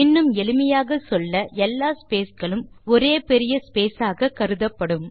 இன்னும் எளிமையாக சொல்ல எல்லா ஸ்பேஸ் களும் ஒரே பெரிய ஸ்பேஸ் ஆக கருதப்படும்